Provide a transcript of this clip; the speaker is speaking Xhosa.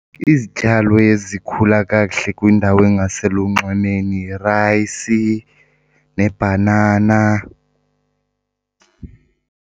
Izityalo ezikhula kakuhle kwindawo engaselunxwemeni yirayisi nebhanana.